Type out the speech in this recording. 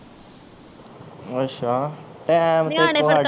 ਅੱਛਾ ਟਾਈਮ ਤੈਥੋਂ ਨਿਆਣੇ ਫੇਰ